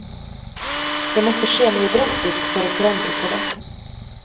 Det måtte skje noe drastisk for å forandre på det.